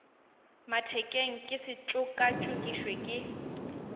mathekeng ke se tšokatšokišwe ke